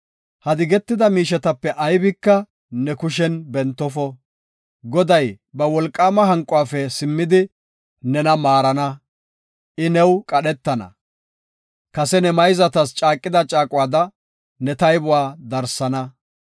Ha digetida miishetape aybika ne kushen bentofo. Goday ba wolqaama hanquwafe simmidi, nena maarana; I new qadhetana. Kase ne mayzatas caaqida caaquwada ne taybuwa darsana.